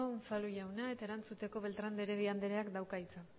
unzalu jauna eta erantzuteko beltrán de heredia andereak dauka hitza